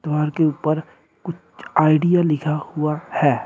द्वार के ऊपर कुछ आईडिया लिखा हुआ है।